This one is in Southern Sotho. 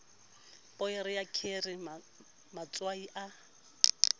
poere ya kheri matswai a